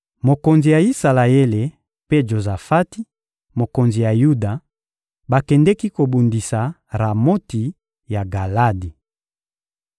Mokonzi ya Isalaele mpe Jozafati, mokonzi ya Yuda, bakendeki kobundisa Ramoti ya Galadi.